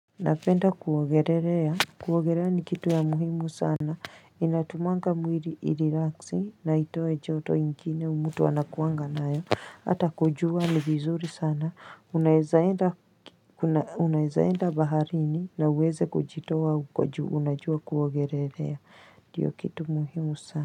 Napenda kuogelelea, kuogelea ni kitu ya muhimu sana, inatumanga mwiri irelax, na itoe joto ingine mto anakuangana nayo, hata kujua ni vizuri sana, unaeza enda baharini na uweze kujitoa huko juu unajua kuogelea, ndiyo kitu muhimu sana.